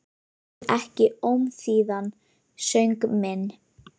Heyrir ekki ómþýðan söng minn.